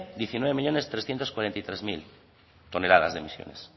diecinueve millónes trescientos cuarenta y nueve mil toneladas de emisiones